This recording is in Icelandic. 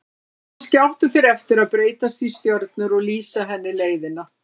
Kannski áttu þeir eftir að breytast í stjörnur og lýsa henni leiðina.